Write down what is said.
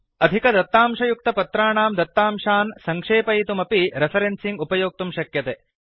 अधिक दत्तांशयुक्त पत्राणां दत्तांशान् सङ्क्षेपयितुमपि रेफरेन्सिंग् उपयोक्तुं शक्यते